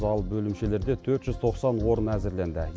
ал бөлімшелерде төрт жүз тоқсан орын әзірленді